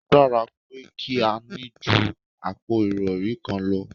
O dára pé kí a ní ju àpò ìrọri kan lọ